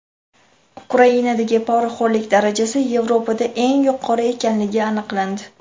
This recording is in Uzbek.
Ukrainadagi poraxo‘rlik darajasi Yevropada eng yuqori ekanligi aniqlandi.